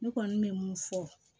Ne kɔni bɛ mun fɔ